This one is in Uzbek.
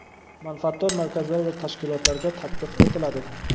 manfaatdor markazlar va tashkilotlarga tatbiq etiladi.